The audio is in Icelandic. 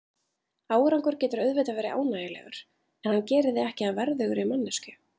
Árangur getur auðvitað verið ánægjulegur, en hann gerir þig ekki að verðugri manneskju.